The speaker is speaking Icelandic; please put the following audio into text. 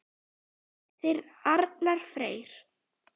Þinn Arnar Freyr.